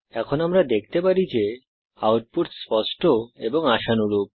এখন আমরা দেখতে পারি যে আউটপুট স্পষ্ট এবং আশানুরূপ